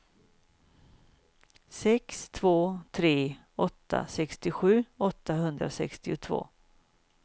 sex två tre åtta sextiosju åttahundrasextiotvå